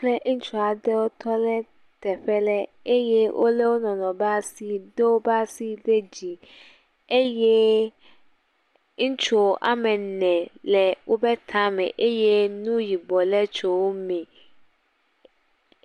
Kple ŋutsua aɖe wotɔ ɖe teƒe ɖe ye wolé wo nɔnɔewo be asi, do wobe asi ɖe dzii eye ŋutsu woame ene le wobe tame eye nu yibɔ le tso wome.